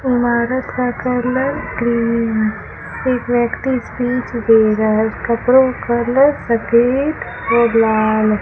दीवारों का colour cream है एक व्यक्ति स्पीच दे रहा है कपड़ो कलर सफेद और लाल --